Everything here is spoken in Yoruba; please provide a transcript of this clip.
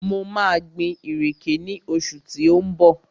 Mo maa gbin ìrèké ní oṣù tí ó ń bọ̀